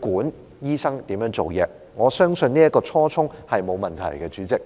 管理醫生如何做事，我相信這初衷沒有問題，主席。